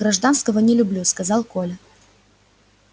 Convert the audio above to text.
гражданского не люблю сказал коля